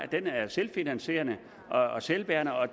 den være selvfinansierende og selvbærende og